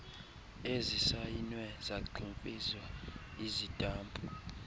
ezisayinwe zagximfizwa isitampu